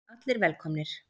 Allir velkomnir.